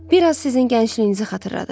Bir az sizin gəncliyinizi xatırladır.